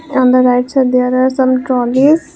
on the right side there are some trolleys.